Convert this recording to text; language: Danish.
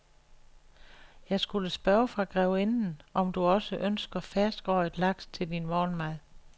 Jeg skulle spørge fra grevinden, om du også ønsker ferskrøget laks til din morgenmad.